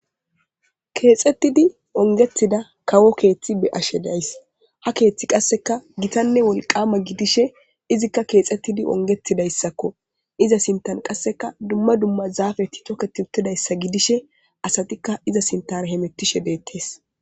Kethetid ongetida kawo kethi beyashe de'ays. Ha keeth qaseka gitanne wolqama gidishe izika kexetid ongetidaysakko iza sinthan qaseka dumma dumma zafet toketid utidaysa gidishe asatika iza sinthara hamutishe de'etes